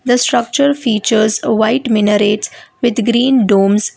the structure features a white minarets with green domes.